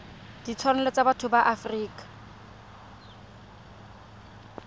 ditshwanelo tsa botho ya afrika